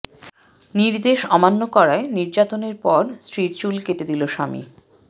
নির্দেশ অমান্য করায় নির্যাতনের পর স্ত্রীর চুল কেটে দিলো স্বামী